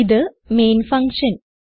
ഇത് main function